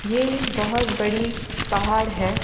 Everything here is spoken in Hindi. ये बहुत बड़ी पहाड़ है।